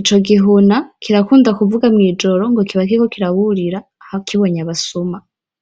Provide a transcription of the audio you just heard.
ico gihuna kirakunda kuvuga mw'ijoro ngo kiba kiriko kiraburira kibonye abasuma.